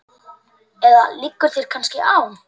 Eða liggur þér kannski á?